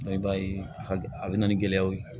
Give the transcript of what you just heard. i b'a ye a bɛ na ni gɛlɛyaw ye